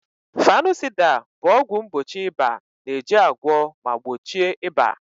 Fanusida bụ ọgwụ mgbochi ịba na-eji agwọ ma gbochie ịba.